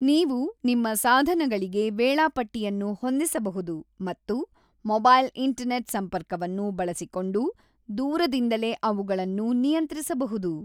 ನೀವು ನಿಮ್ಮ ಸಾಧನಗಳಿಗೆ ವೇಳಾಪಟ್ಟಿಯನ್ನು ಹೊಂದಿಸಬಹುದು ಮತ್ತು ಮೊಬೈಲ್ ಇಂಟರನೇಟ್ ಸಂಪರ್ಕವನ್ನು ಬಳಸಿಕೊಂಡು ದೂರದಿಂದಲೇ ಅವುಗಳನ್ನು ನಿಯಂತ್ರಿಸಬಹುದು